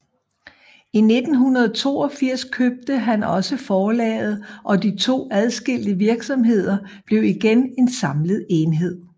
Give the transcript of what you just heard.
I 1982 købte han også forlaget og de to adskilte virksomheder blev igen en samlet enhed